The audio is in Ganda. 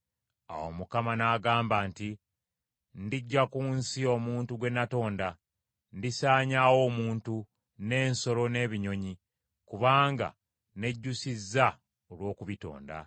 Awo Mukama n’agamba nti, “Ndiggya ku nsi omuntu gwe natonda, ndisaanyaawo omuntu, n’ensolo n’ebinyonyi, kubanga nejjusizza olw’okubitonda.”